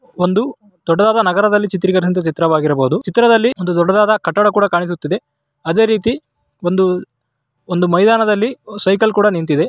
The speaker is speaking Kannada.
ಒಂದು ದೊಡ್ಡದಾದ ನಗರದಲ್ಲಿ ಚಿತ್ರೀಕರಿಸಿರುವ ಚಿತ್ರ ವಾಗಿರಬಹುದು ಚಿತ್ರದಲ್ಲಿ ದೊಡ್ಡದಾದ ಕಟ್ಟಡ ಕೂಡ ಕಾಣಿಸ್ತಾ ಇದೆ ಅದೇ ರೀತಿ ಒಂದು ಮೈದಾನದಲ್ಲಿ ಸೈಕಲ್ ಕೂಡ ನಿಂತಿದೆ.